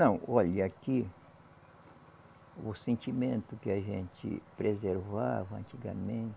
Não, olha, aqui o sentimento que a gente preservava antigamente,